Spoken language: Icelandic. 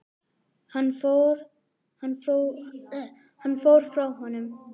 Hann fór frá honum.